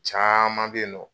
Caaman be yen nɔ